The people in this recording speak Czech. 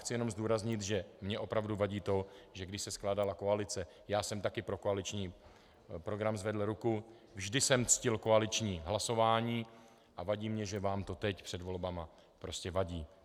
Chci jenom zdůraznit, že mi opravdu vadí to, že když se skládala koalice, já jsem taky pro koaliční program zvedl ruku, vždy jsem ctil koaliční hlasování a vadí mi, že vám to teď před volbami prostě vadí.